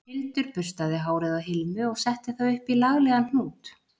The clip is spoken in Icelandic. Hildur burstaði hárið á Hilmu og setti það upp í laglegan hnút